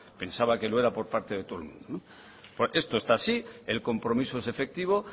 pensaba que lo era por parte de todo el mundo esto está así el compromiso es efectivo